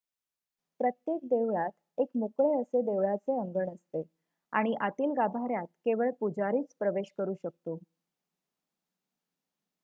प्रत्येक देवळात एक मोकळे असे देवळाचे अंगण असते आणि आतील गाभाऱ्यात केवळ पुजारीच प्रवेश करू शकतो